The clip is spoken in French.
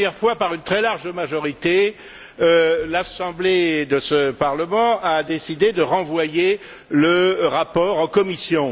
La dernière fois, par une très large majorité, l'assemblée de ce Parlement a décidé de renvoyer le rapport en commission.